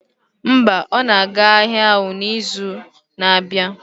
Mba, ọ na-aga ahịa ahụ n'izu na-abịa